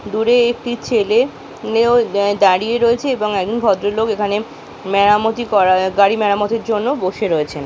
দূরে একটি ছেলে মেয়েও আ দাঁড়িয়ে রয়েছে এবং একজন ভদ্রলোক এখানে মেরামতি করার গাড়ি মেরামতির জন্য বসে রয়েছেন।